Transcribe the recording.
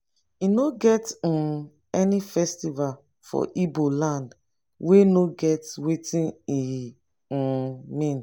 e no get um any festival for ibo land wey no get wetin e um mean.